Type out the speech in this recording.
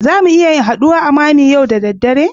Zamu iya haduwa a mammy yau da dare